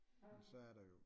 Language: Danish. Så er der jo